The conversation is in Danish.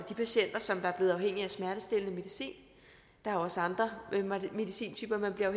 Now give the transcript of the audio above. de patienter som er blevet afhængige af smertestillende medicin der er også andre medicintyper man bliver